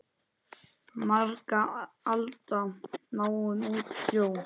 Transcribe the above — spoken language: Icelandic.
Margra alda máum út hljóm?